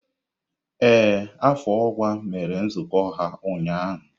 Ee, afọ ọkwa mere nzukọ ha ụnyaahụ.